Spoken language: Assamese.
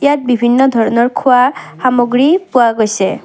ইয়াত বিভিন্ন ধৰণৰ খোৱা সামগ্ৰী পোৱা গৈছে।